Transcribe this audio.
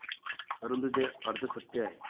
परंतु, ते अर्धसत्य आहे.